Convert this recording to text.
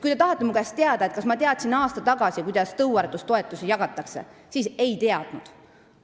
Kui te tahate teada, kas ma teadsin aasta tagasi, kuidas tõuaretustoetusi jagatakse, siis vastan, et ei teadnud.